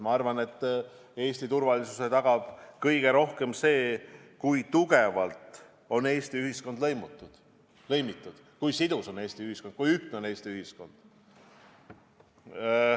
Ma arvan, et Eesti turvalisuse tagab kõige paremini see, kui Eesti ühiskond on tugevalt lõimitud, kui Eesti ühiskond on sidus ja ühtlane.